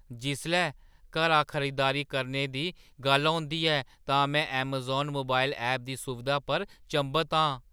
जिसलै घरा खरीदारी करने दी गल्ल औंदी ऐ तां में ऐमज़ान मोबाइल ऐप दी सुविधा पर चंभत आं।